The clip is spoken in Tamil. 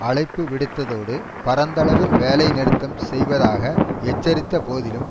அழைப்பு விடுத்ததோடு பரந்தளவில் வேலை நிறுத்தம் செய்வதாக எச்சரித்த போதிலும்